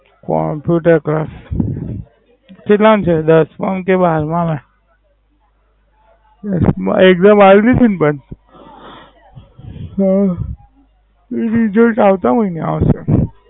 Computer class કેટલાંમાં છે દસ માં કે બાર માં? એકદમ આવી ગઈ ને બસ ઉહ રિસાલત આવતા હોય ને